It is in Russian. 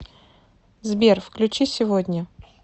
сбер включи сегодня